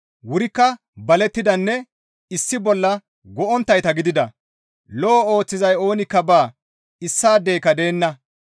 Wurikka balettidanne issi bolla go7onttayta gidida. Lo7o ooththizay oonikka baa; issaadeyka deenna.